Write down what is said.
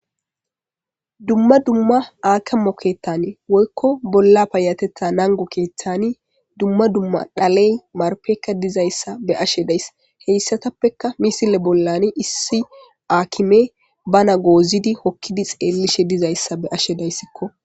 dumma dumma aake mokettane woykko bolla payatetha nangu keeththani dumma dumma dhaley marpekka dizayssa be ashe dayss heyssatappekka misile bollani issi aakime bana goozidi hokkidi xeellishe dizayssa be ashe dayssikko